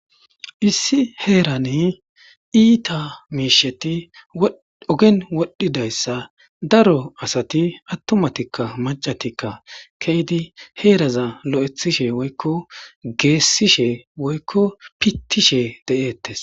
Issi heeran iita miisheti ogen wodhdhidayssa daro asati attumatikka maccatikka ke'idi heeraza lo'ethishe woykko geessishe woykko pittishe de'ettes.